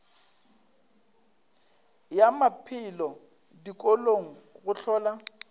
ya maphelo dikolong go hlola